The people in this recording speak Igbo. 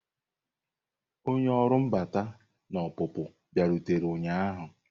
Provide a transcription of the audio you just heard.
Onye ọrụ mbata na ọpụpụ bịarutere ụnyahụ.